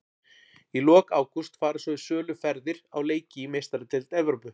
Í lok ágúst fara svo í sölu ferðir á leiki í Meistaradeild Evrópu.